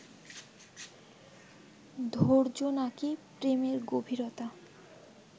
ধৈর্য নাকি প্রেমের গভীরতা